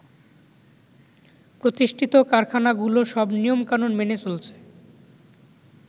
প্রতিষ্ঠিত কারখানাগুলো সব নিয়ম কানুন মেনে চলছে।